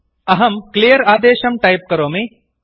अहं क्लियर् आदेशं टैप् करोमि